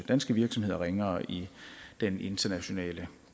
danske virksomheder ringere i den internationale